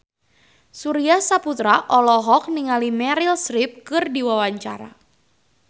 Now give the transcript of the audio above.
Surya Saputra olohok ningali Meryl Streep keur diwawancara